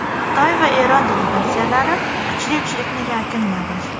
Xitoy va Eron delegatsiyalari kuchli uchlikni yakunladi.